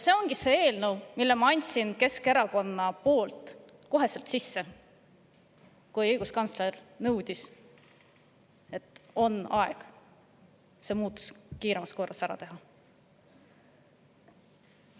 Selle eelnõu ma andsin Keskerakonna nimel sisse kohe, kui õiguskantsler, et on aeg see muudatus kiiremas korras ära teha.